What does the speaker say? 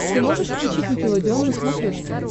ты можешь включить никелодеон на смотрешке